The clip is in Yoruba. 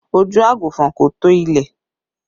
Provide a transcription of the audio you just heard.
Ojú àgùnfọn kò tó ilẹ̀